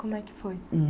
Como é que foi?